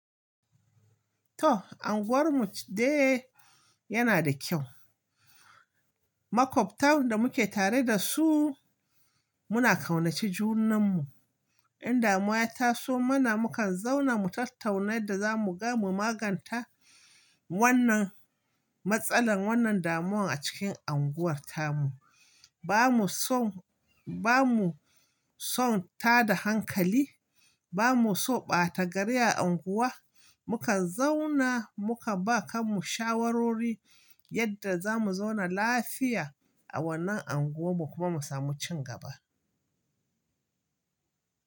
To, unguwarmu dai yana da kyau. Makwabta da muke tare da su muna ƙaunaci junanmu. In damuwa ta zo mana, mukan zauna mu tattauna yadda zamu magance wannan matsalar, wannan damuwar a cikin unguwar tamu. Ba mu so, ba mu so tada hankali, ba mu so ɓata gari a unguwa. Mukan zauna muka ba kanmu shawarwori yadda zamu zauna lafiya a wannan unguwar mu kuma mu samu ci gaba.